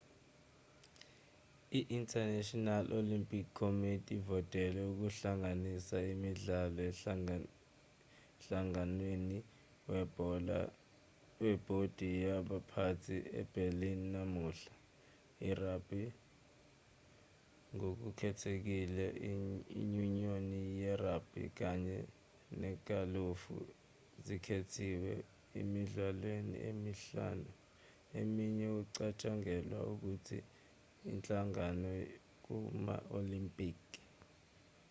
i-international olympic committee ivotele ukuhlanganisa imidlalo emhlanganweni webhodi yabaphathi eberlin namuhla i-rugby ngokukhethekhile inyunyoni ye-rugby kanye negalufu zikhethiwe emidlalweni emihlanu eminye ukucatshangalwe ukuthi ihlanganyele kuma-olimpiki